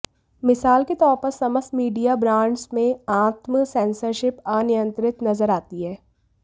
मिसाल के तौर पर समस्त मीडिया ब्रांड्स में आत्म सेंसरशिप अनियंत्रित नजर आती है